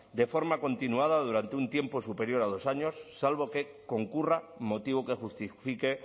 de forma continuada durante un tiempo superior a dos años salvo que concurra motivo que justifique